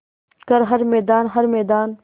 कर हर मैदान हर मैदान